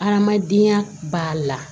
Hadamadenya b'a la